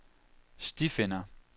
stifinder